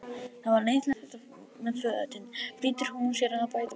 Það var leiðinlegt þetta með fötin, flýtir hún sér að bæta við.